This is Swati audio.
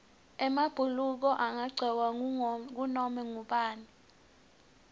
emabhuluko angagcokwa ngunoma ngubani